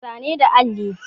Muna zane da alli